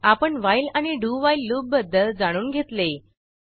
आपण व्हाईल आणि do while loop बद्दल जाणून घेतले